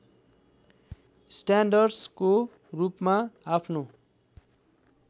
स्यान्डर्सको रूपमा आफ्नो